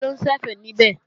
Taló ń ṣẹ̀fẹ̀ níbẹ̀?